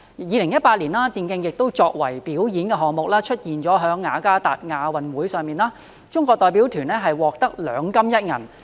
2018年，電競作為表演項目，出現在雅加達亞洲運動會上，中國代表團獲得兩金一銀。